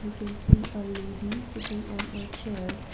we can see a lady sitting on a chair.